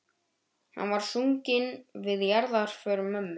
Hann var sunginn við jarðarför mömmu.